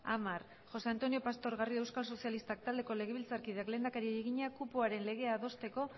gai zerrendako hamargarren puntua interpelazioa josé antonio pastor garrido euskal sozialistak taldeko legebiltzarkideak lehendakariari egina kupoaren legea adosteko